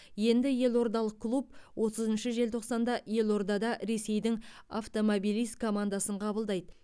енді елордалық клуб отызыншы желтоқсанда елордада ресейдің автомобилист командасын қабылдайды